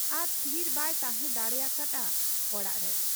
ᱟᱨ ᱛᱷᱤᱨ ᱵᱟᱭ ᱛᱟᱦᱮᱸ ᱫᱟᱲᱮᱭᱟᱠᱟ ᱦᱟᱫ ᱟ ᱚᱲᱟᱜ ᱨᱮ ᱾